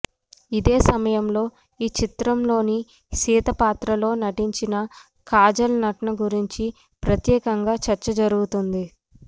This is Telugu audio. ఇదే సమయంలో ఈ చిత్రంలోని సీత పాత్రలో నటించిన కాజల్ నటన గురించి ప్రత్యేకంగా చర్చ జరుగుతోంది